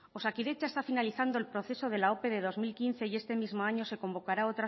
osakidetza está finalizando el proceso de la ope de dos mil quince y este mismo año se convocará